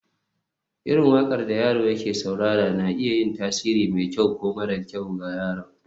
irin waƙar da yaro ya saurara na iya yin tasiri mai kyau ko mara kyau ga yaron